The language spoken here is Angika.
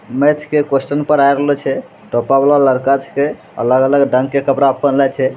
मैथ के कुएस्शन पढ़ा रहलो छै | टोपा वाला लड़का छै अलग-अलग रंग का कपड़ा पहनले छै |